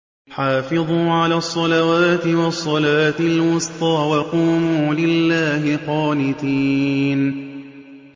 حَافِظُوا عَلَى الصَّلَوَاتِ وَالصَّلَاةِ الْوُسْطَىٰ وَقُومُوا لِلَّهِ قَانِتِينَ